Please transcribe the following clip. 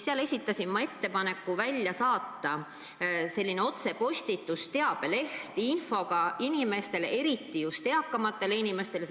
Seal esitasin ma ettepaneku otsepostituse korras välja saata infot sisaldav teabeleht, seda just eakamatele inimestele.